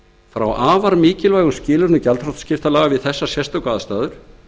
frá afar mikilvægum skilyrðum gjaldþrotaskiptalaga við þessar sérstöku aðstæður